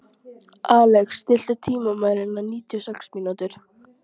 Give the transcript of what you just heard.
Alex, stilltu tímamælinn á níutíu og sex mínútur.